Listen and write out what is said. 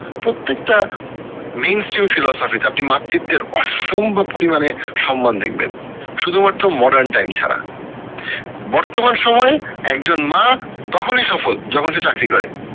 প্রত্যেকটা তে আপনি মাতৃত্বের অসম্ভব পরিমানে সম্মান দেখবেন শুধু মাত্র modern time ছাড়া বর্তমান সময়ে একজন মা তখনি সফল যখন সে চাকরি করে